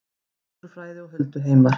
Náttúrufræði og hulduheimar